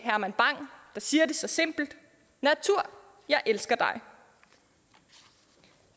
herman bang der siger det så simpelt natur jeg elsker dig